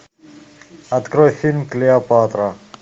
открой фильм клеопатра